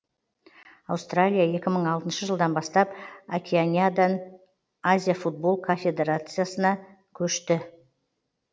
аустралия екі мың алтыншы жылдан бастап океанядан азия футбол конфедерациясына көшті